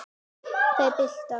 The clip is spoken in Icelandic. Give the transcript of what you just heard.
Þær bila.